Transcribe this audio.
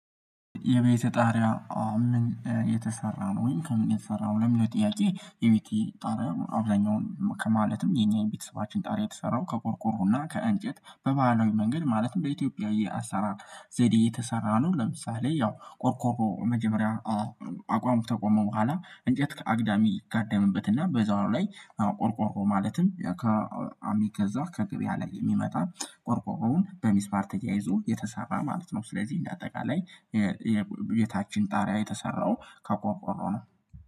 የቤተ ጣሪያ ምን የተሰራ ነው ወይም ከምን የተሰራው ለሚለወ ጥያቄ? የቤቴ ጣሪያ አብዛኛውን ከማለትም የኛን ቤተሰባችን ጣሪያ የተሰራው ከቆርቆሮና ከእንጨት በባህላዊ መንገድ ማለትም በኢትዮጵያዊ የአሳራ ዘዴ የተሰራ ነው። ለምሳሌ ያው ቆርቆሮ መጀመሪያ አቋሙ ተቆመ በኋላ እንጨት አግዳሚ ይጋደምበትና በዛው ላይ ቆርቆሮ ማለትም ከእሚ ገዛ ከግብያ ላይ የሚመጣ ቆርቆሮውን በሚስማር ተያይዞ የተሰራ ማለት ነው። ስለዚህ እንደ አጠቃላይ የቤታችን ጣሪያ የተሰራው ከቆሮቆ ነው።